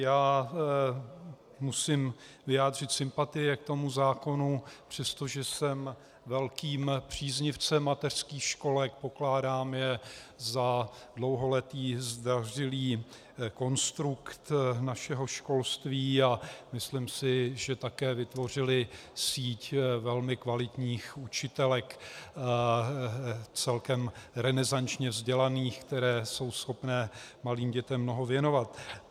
Já musím vyjádřit sympatie k tomu zákonu, přestože jsem velkým příznivcem mateřských školek, pokládám je za dlouholetý zdařilý konstrukt našeho školství a myslím si, že také vytvořily síť velmi kvalitních učitelek, celkem renesančně vzdělaných, které jsou schopné malým dětem mnoho věnovat.